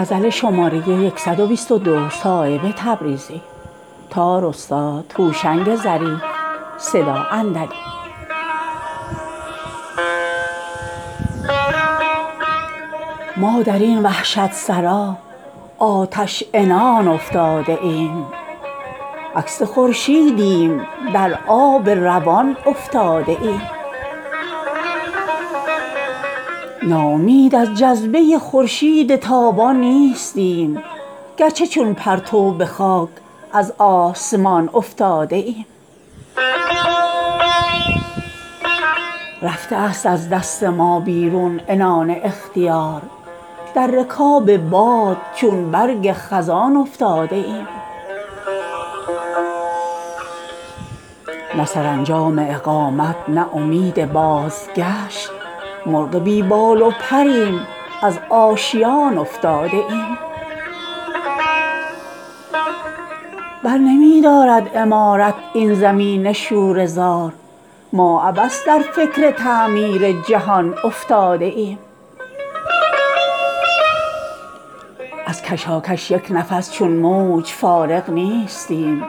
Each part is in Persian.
ما درین وحشت سرا آتش عنان افتاده ایم عکس خورشیدیم در آب روان افتاده ایم ناامید از جذبه خورشید تابان نیستیم گرچه چون پرتو به خاک از آسمان افتاده ایم تا نظر واکرده ای از یکدگر پاشیده ایم پیش پای ماه چون فرش کتان افتاده ایم رفته است از دست ما بیرون عنان اختیار در رکاب باد چون برگ خزان افتاده ایم نه سرانجام اقامت نه امید بازگشت مرغ بی بال و پریم از آشیان افتاده ایم از زمین گیران بود چون سبزه خوابیده خضر در بیابانی که ما سرگشتگان افتاده ایم دل بود زاد ره مردان و ما تن پروران در تنور آتشین از فکر نان افتاده ایم سخت جانی بر دل ما کار مشکل کرده است همچو پیکان در طلسم استخوان افتاده ایم در خطر گاهی که با کبکب است هم پروز کوه ما گرانجانان به فکر خانمان افتاده ایم برنمی دارد عمارت این زمین شوره زار ما عبث در فکر تعمیر جهان افتاده ایم از کشاکش یک نفس چون موج فارغ نیستیم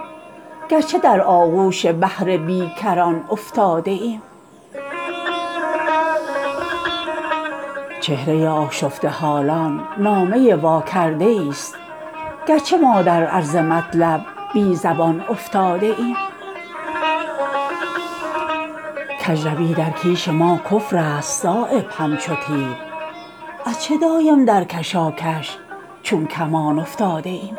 گرچه در آغوش بحر بیکران افتاده ایم سیر و دور ما ز نه پرگار گردون برترست گر به ظاهر همچو مرکز در میان افتاده ایم آرزوی خام افکنده است نان ما به خون از فضولیها ز چشم میزبان افتاده ایم می شود آسوده از نشو و نما تخمی که سوخت ما ز دوزخ در بهشت جاودان افتاده ایم می کند جوش ثمر بردیده با نان خواب تلخ از برومندی ز چشم باغبان افتاده ایم چهره آشفته حالان نامه واکرده ای است گرچه ما در عرض مطلب بی زبان افتاده ایم کجروی در کیش ما کفرست صایب چون خدنگ از چه دایم در کشاکش چون کمان افتاده ایم